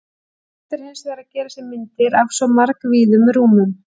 Erfitt er hins vegar að gera sér myndir af svo margvíðum rúmum.